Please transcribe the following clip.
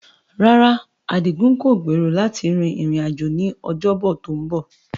Rárá, Adigun kò gbèrò láti rin ìrìn-àjò ní Ọjọ́bọ̀ tó ń bọ̀.